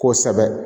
Kosɛbɛ